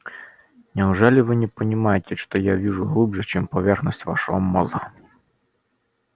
неужели вы не понимаете что я вижу глубже чем поверхность вашего мозга